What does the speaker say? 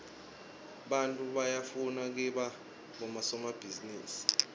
baityfu bafura kiba bodomabhizirusi